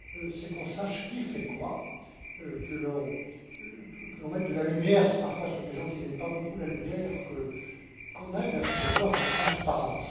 c'est qu'on sache qui fait quoi, que l'on mette de la lumière parfois sur des gens qui n'aiment pas beaucoup la lumière, qu'on se dirige vers ce devoir de transparence.